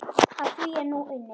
Að því er nú unnið.